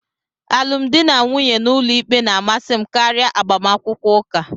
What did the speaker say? Alụmdi na nwunye n'ụlọikpe na-amasị m karịa agbamakwụkwọ ụka.